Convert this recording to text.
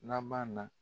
Laban na